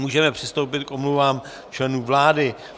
Můžeme přistoupit k omluvám členů vlády.